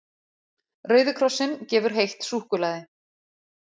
Rauði krossinn gefur heitt súkkulaði